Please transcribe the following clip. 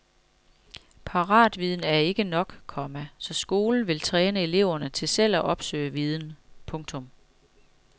Paratviden er ikke nok, komma så skolen vil træne eleverne til selv at opsøge viden. punktum